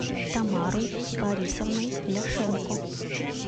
тамарой борисовной ляшенко